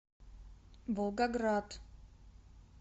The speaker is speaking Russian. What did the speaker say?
волгоград